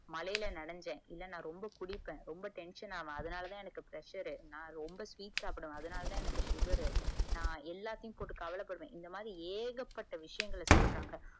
மழைல நினைஞ்ச ரொம்ப குடிப்ப ரொம்ப tension ஆகுவ அதனாலதா எனக்குய் pressure ரு நா ரொம்ப டீ சாப்டுவ அதனாலதா எனக்கு sugar ரு நா எல்லாத்தையும் போட்டு கவல படுவ இந்த மாதிரி ஏகப்பட்ட விஷயங்கள சொல்றாங்க